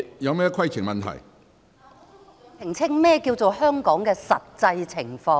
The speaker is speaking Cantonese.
我想局長澄清何謂香港的實際情況。